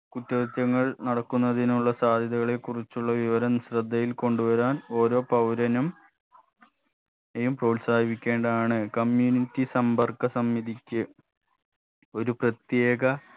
കുറ്റകൃത്യങ്ങൾ നടക്കുന്നതിനുള്ള സാധ്യതകളെ കുറിച്ചുള്ള വിവരം ശ്രദ്ധയിൽ കൊണ്ടുവരാൻ ഓരോ പൗരനും നെയും പ്രോത്സാഹിപ്പിക്കേണ്ടതാണ് community സമ്പർക്ക സമിതിക്ക് ഒരു പ്രത്യേക